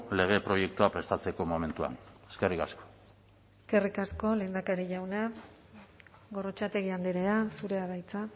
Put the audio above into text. lege proiektua prestatzeko momentuan eskerrik asko eskerrik asko lehendakari jauna gorrotxategi andrea zurea da hitza